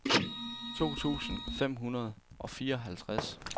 to tusind fem hundrede og fireoghalvtreds